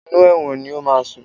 Inú ẹ̀wọ̀n ni o máa sùn.